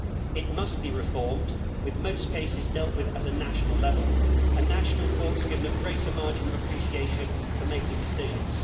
It must be reformed, with most cases dealt with at national level and national courts given a greater margin of appreciation for making decisions.